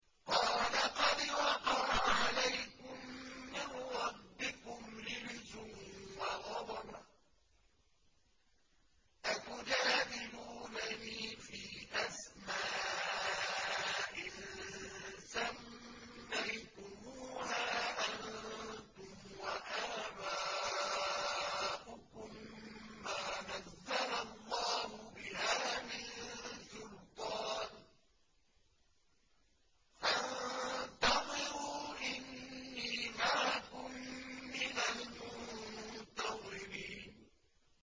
قَالَ قَدْ وَقَعَ عَلَيْكُم مِّن رَّبِّكُمْ رِجْسٌ وَغَضَبٌ ۖ أَتُجَادِلُونَنِي فِي أَسْمَاءٍ سَمَّيْتُمُوهَا أَنتُمْ وَآبَاؤُكُم مَّا نَزَّلَ اللَّهُ بِهَا مِن سُلْطَانٍ ۚ فَانتَظِرُوا إِنِّي مَعَكُم مِّنَ الْمُنتَظِرِينَ